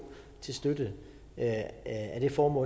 til støtte af det formål